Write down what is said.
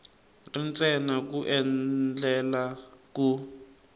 ri ntsena ku endlela ku